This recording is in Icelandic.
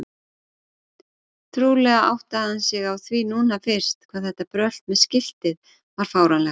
Trúlega áttaði hann sig á því núna fyrst hvað þetta brölt með skiltið var fáránlegt.